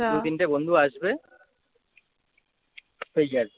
দু তিনটে বন্ধু আসবে এই আর কি